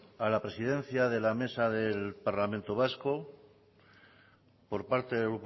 a la presidencia de la mesa del parlamento vasco por parte del